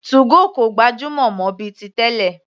2go kò gbajúmọ̀ mọ́ bíi ti tẹ́lẹ̀.